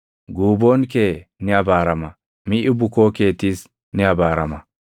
Guuboon kee ni abaarama; miʼi bukoo keetiis ni abaarama.